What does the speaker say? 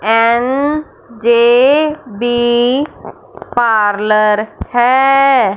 N J B parlour है।